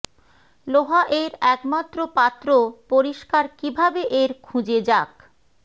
লোহা এর একমাত্র পাত্র পরিষ্কার কিভাবে এর খুঁজে যাক